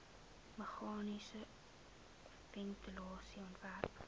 meganiese ventilasie ontwerp